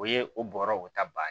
O ye o bɔra o ta ban